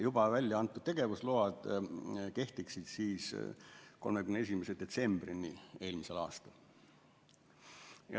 Juba välja antud tegevusload kehtiksid siis 31. detsembrini eelmisel aastal.